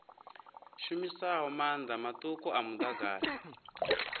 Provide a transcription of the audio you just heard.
shumisaho maanḓa maṱuku a muḓagasi